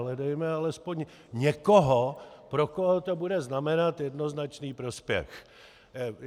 Hledejme alespoň někoho, pro koho to bude znamenat jednoznačný prospěch.